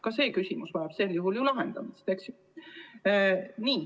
Ka see küsimus vajab sel juhul lahendamist.